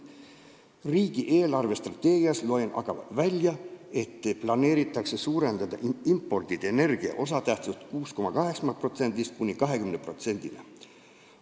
Riigi eelarvestrateegiast loen aga välja, et planeeritakse imporditud energia osatähtsust suurendada 6,8%-st 20%-ni.